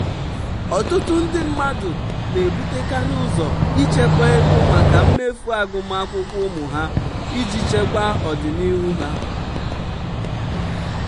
"ọtụtụ ndị mmadụ na-ebutekarị ụzọ ichekwa ego maka mmefu agụmakwụkwọ ụmụ ha iji chekwa ọdịnihu ha."